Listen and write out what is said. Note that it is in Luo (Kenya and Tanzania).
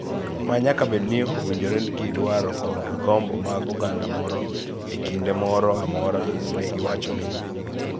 ma nyaka bed ni owinjore gi dwaro kod gombo mag oganda moro e kinde moro amora, ne giwacho ni.